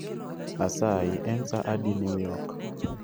Asayi en sa adi new york